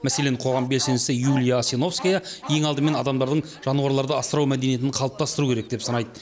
мәселен қоғам белсендісі юлия асиновская ең алдымен адамдардың жануарларды асырау мәдениетін қалыптастыру керек деп санайды